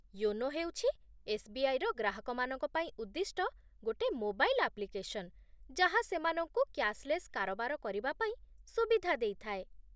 YONO ହେଉଛି S B I ର ଗ୍ରାହକମାନଙ୍କ ପାଇଁ ଉଦ୍ଦିଷ୍ଟ ଗୋଟେ ମୋବାଇଲ୍ ଆପ୍ଲିକେସନ୍, ଯାହା ସେମାନଙ୍କୁ କ୍ୟାଶ୍‌ଲେସ୍ କାରବାର କରିବା ପାଇଁ ସୁବିଧା ଦେଇଥାଏ